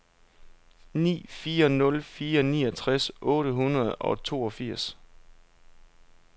ni fire nul fire niogtres otte hundrede og toogfirs